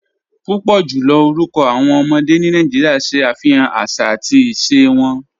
Púpọ̀ jùlọ̀ orúkọ̀ awọn ọmọdé ni Nàìjíríà ṣẹ afihàn àṣà àti ìṣẹ̀ wọn